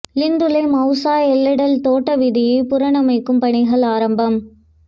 Lindula Mousa Ella Dell தோட்ட வீதியை புனரமைக்கும் பணிகள் ஆரம்பம்